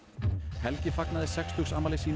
helgi fagnaði sextugsafmæli sínu í